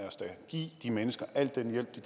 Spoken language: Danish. os da give de mennesker al den hjælp de